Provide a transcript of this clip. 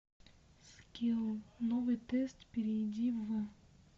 скилл новый тест перейди в